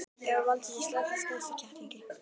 Jói valdi sér strax stærsta kettlinginn.